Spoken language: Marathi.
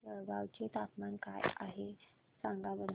जळगाव चे तापमान काय आहे सांगा बरं